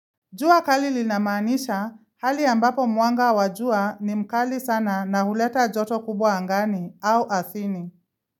Jua kali linamanisha hali ambapo mwanga wajua ni mkali sana na huleta joto kubwa angani au ardhini.